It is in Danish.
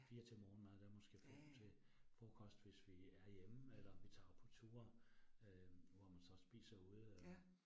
4 til morgenmad, der måske 5 til frokost, hvis vi er hjemme eller vi tager på tur, øh hvor man så spiser ude øh